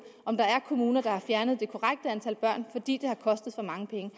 om der er kommuner der ikke har fjernet det korrekte antal børn fordi det har kostet så mange penge